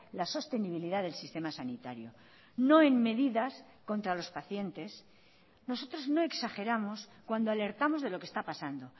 la sostenibilidad del sistema sanitario no en medidas contra los pacientes nosotros no exageramos cuando alertamos de lo que está pasando